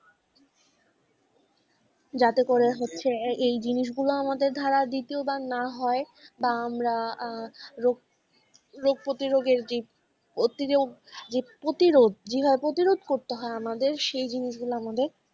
যাতে করে হচ্ছে এই জিনিসগুলো ধরো দ্বিতীয়বার না হয় বা আমরা আহ রোগ রোগ প্রতিরোগের যেই প্রতিরোধ যে প্রতিরোধ করতে হয় আমাদের সেই জিনিসগুলো আমাদের,